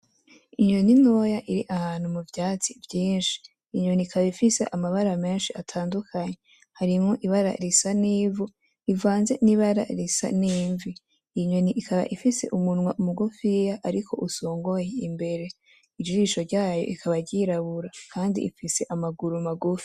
Inyoni ntoya iri ahantu mu vyatsi vyinshi .Inyoni ikaba ifise amabara menshi atandukanye harimwo ibara risa n'ivu rivanze n'ibara risa n'imvi. Inyoni ikaba ifise umwa mugufiya ariko usongoye imbere, ijisho ryayo ,ikaba ryirabura kandi ifise amaguru magufi.